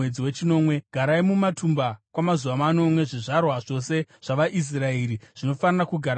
Garai mumatumba kwamazuva manomwe: Zvizvarwa zvose zvavaIsraeri zvinofanira kugara mumatumba